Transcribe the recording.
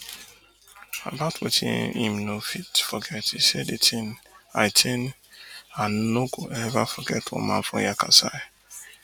about wetin im no fit forget e say di tin i tin i no go eva forget one man from yakasai